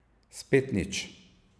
Spet nič.